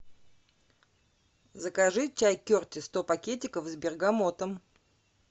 закажи чай кертис сто пакетиков с бергамотом